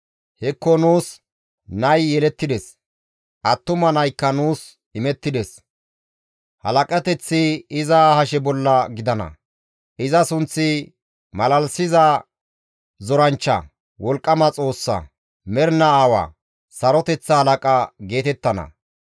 Hekko nuus nay yelettides! Attuma naykka nuus imettides! Halaqateththi iza hashe bolla gidana; iza sunththi, «Malalisiza zoranchcha, Wolqqama Xoossa, Mernaa Aawa, Saroteththa Halaqa» geetettana.